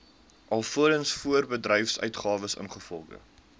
alvorens voorbedryfsuitgawes ingevolge